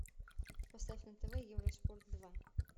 поставь на тв евроспорт два